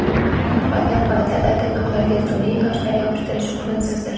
Qolgan holatlarda tirnoqlarga sun’iy toshlar yopishtirish o‘rinsizdir.